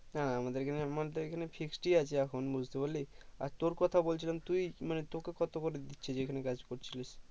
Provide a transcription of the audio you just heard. হ্যাঁ আমাদের এখানে মানতে গেলে fixed ই আছে এখন বুঝতে পারলি আর তোর কথা বলছিলাম তুই মানে তোকে কত করে দিচ্ছে যেখানে কাজ করছিলি